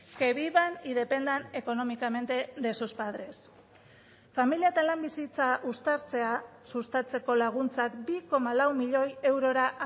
que vivan y dependan económicamente de sus padres familia eta lan bizitza uztartzea sustatzeko laguntzak bi koma lau milioi eurora